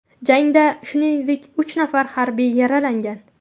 Jangda shuningdek uch nafar harbiy yaralangan.